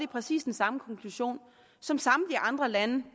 præcis den samme konklusion som samtlige andre lande